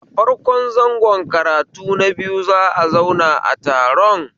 A farko zango karatu na biyu za'a zauna taron